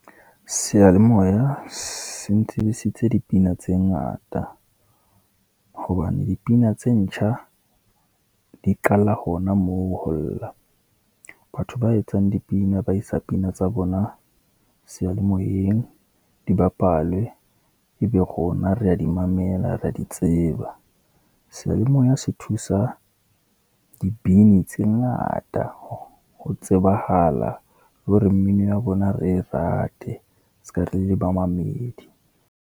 Seyalemoya se ntsebisitse dipina tse ngata, hobane dipina tse ntjha di qala hona moo ho lla. Batho ba etsang dipina ba isa pina tsa bona seyalemoyeng di bapalwe. E be rona re ya di mamela re ya di tseba. Seyalemoya se thusa dibini tse ngata ho tsebahala le hore mmino ya bona re e rate, ska re le bamamedi.